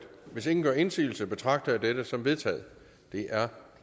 hvis ingen gør indsigelse betragter jeg dette som vedtaget det er